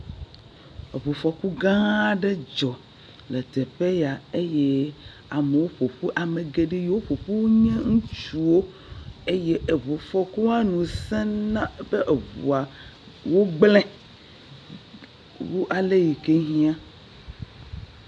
Eŋu fɔku gã aɖe dzɔ le teƒ ya eye amewo ƒoƒu. ame geɖe yike ƒoƒu nye ŋutsuwo eye eŋu fɔkua nu sẽ na be eŋua wogblẽ wu ale yike hɛ̃a.